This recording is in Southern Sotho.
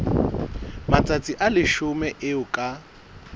matsatsi a leshome eo ka